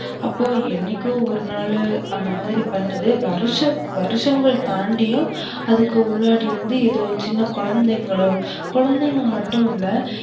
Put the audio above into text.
அப்போ என்னைக்கோ ஒரு நாலு அந்தமாதிரி பண்றது வரு, வருஷங்கள் தாண்டியும் அதுக்கு குலாடி வந்து எதோ குழந்தைகளோ, குழந்தைங்க மட்டும் இல்ல